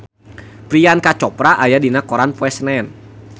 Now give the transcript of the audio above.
Priyanka Chopra aya dina koran poe Senen